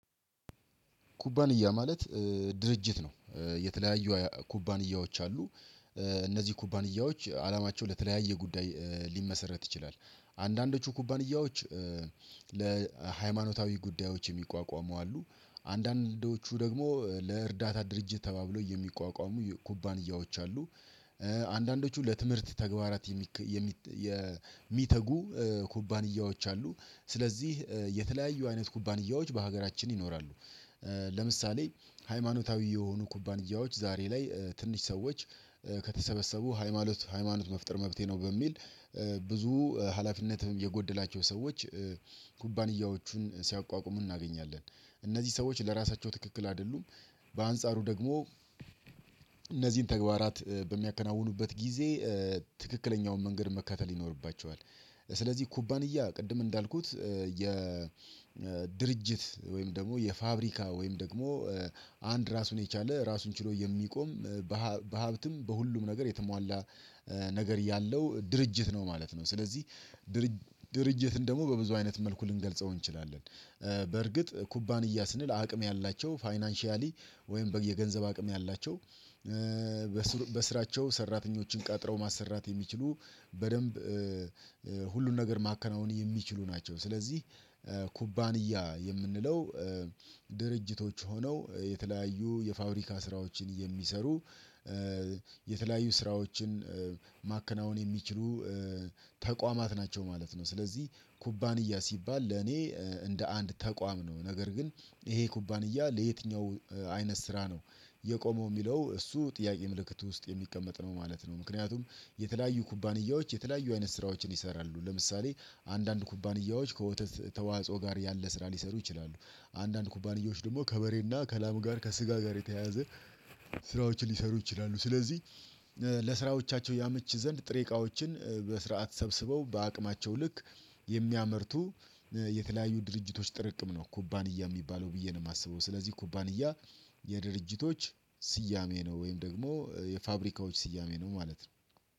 ኩባንያ ማለት ድርጅት ነው። የተለያዩ ኩባንያዎች አሉ። እነዚህ ኩባንያዎች አላማቸው ለተለያየ ጉዳይ ሊመሰረት ይችላል። አንዳንዶቹ ኩባንያዎች። ለሃይማኖታዊ ጉዳዮች የሚቋቋሙ አሉ። አንዳንዶቹ ደግሞ ለእርዳታ ድርጅት ተባብሎ የሚቋቋሙ ኩባንያዎች አሉ። አንዳንዶቹ ለትምህርት ተግባራት የሚተጉ ኩባንያዎች አሉ። ስለዚህ የተለያዩ አይነት ኩባንያዎች በሀገራችን ይኖራሉ። ለምሳሌ ሃይማኖታዊ የሆኑ ኩባንያዎች ዛሬ ላይ ትንሽ ሰዎች ከተሰበሰቡ። ሃይማኖት መፍጠር መብቴ ነው በሚል ብዙ ሃላፊነትም የጎደላቸው ሰዎች ኩባንያዎቹን ሲያቋቁሙ እናገኛለን። እነዚህ ሰዎች ለራሳቸው ትክክል አይደሉም። በአንጻሩ ደግሞ። እነዚህን ተግባራት በሚያከናውኑበት ጊዜ። ትክክለኛውን መንገድ መከተል ይኖርባቸዋል። ስለዚህ ኩባንያ ቅድም እንዳልኩት የድርጅት ወይም ደግሞ የፋብሪካ ወይም ደግሞ። አንድ ራሱን የቻለ ራሱን ችሎ የሚቆም። በሀብትም በሁሉም ነገር የተሟላ። ነገር ያለው ድርጅት ነው ማለት ነው። ስለዚህ ድርጅት ድርጅትን ደግሞ በብዙ አይነት መልኩ ልንገልጸው እንችላለን። በርግጥ ኩባንያ ስንል አቅም ያላቸው ፋይናንሻሊ ወይም የገንዘብ አቅም ያላቸው። በስራቸው ሰራተኞችን ቀጥረው ማሰራት የሚችሉ በደንብ ሁሉን ነገር ማከናወን የሚችሉ ናቸው። ስለዚህ ኩባንያ የምንለው። ድርጅቶች ሆነው የተለያዩ የፋብሪካ ስራዎችን የሚሰሩ። የተለያዩ ስራዎችን ማከናወን የሚችሉ ተቋማት ናቸው ማለት ነው። ስለዚህ ኩባንያ ሲባል ለኔ እንደ አንድ ተቋም ነው ነገር ግን። ይሄ ኩባንያ ለየትኛው አይነት ስራ ነው። የቆመው የሚለው እሱ ጥያቄ ምልክት ውስጥ የሚቀመጥ ነው ማለት ነው። ምክንያቱም የተለያዩ የተለያዩ አይነት ስራዎችን ይሰራሉ። ለምሳሌ አንዳንድ ኩባንያዎች ከወተት ተዋጽኦ ጋር ያለ ስራ ሊሰሩ ይችላሉ። አንዳንድ ኩባንያዎች ደግሞ ከበሬና ከላም ጋር ከስጋ ጋር የተያያዘ። ስራዎችን ሊሰሩ ይችላሉ። ስለዚህ ለስራዎቻቸው ያመች ዘንድ ጥሬ እቃዎችን በስርዓት ሰብስበው በአቅማቸው ልክ። የሚያመርቱ የተለያዩ ድርጅቶች ጥርቅም ነው ኩባንያ የሚባለው ብዬ ነው የማስበው። ስለዚህ ኩባንያ የድርጅቶች ስያሜ ነው። ወይም ደግሞ የፋብሪካዎች ስያሜ ነው ማለት ነው።